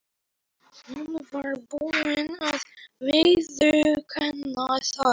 Hún var búin að viðurkenna það.